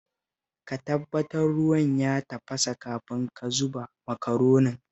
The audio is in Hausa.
Ka tabbatar ruwan ya tafasa kafin ka zuba Makaronin